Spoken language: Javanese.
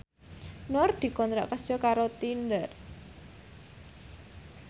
Nur dikontrak kerja karo Tinder